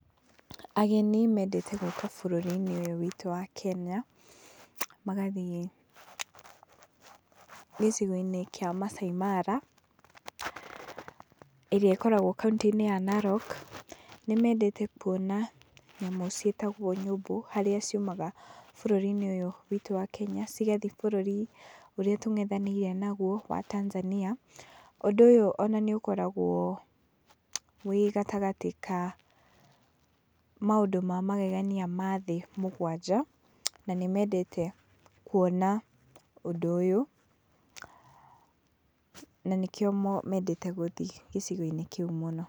Ageni mendete gũka bũrũrinĩ ũyũ witũ wa Kenya, magathiĩ gĩcigoinĩ kia Maasai Mara ĩrĩa ĩkoragwo kauntĩ-inĩ ya Narok. Nĩmendete kuona nyamũ ciĩtagwo nyũmbũ harĩa ciumaga bũrũri-inĩ ũyũ witu wa Kenya cigathie bũrũri ũrĩa tũng'ethanĩire naguo wa Tanzania, ũndũ ũyũ ona nĩũkoragwo wĩ gatagatĩ ka maũndũ ma magegania ma thĩ mũgwanja, na nĩ mendete kuona ũndũ ũyũ na nĩkĩo mendete gũthiĩ gĩcigo-inĩ kĩu mũno.